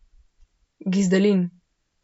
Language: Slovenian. Gizdalin.